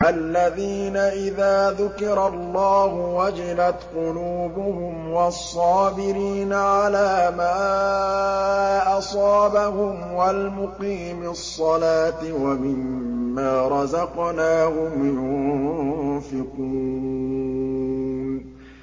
الَّذِينَ إِذَا ذُكِرَ اللَّهُ وَجِلَتْ قُلُوبُهُمْ وَالصَّابِرِينَ عَلَىٰ مَا أَصَابَهُمْ وَالْمُقِيمِي الصَّلَاةِ وَمِمَّا رَزَقْنَاهُمْ يُنفِقُونَ